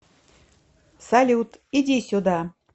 салют иди сюда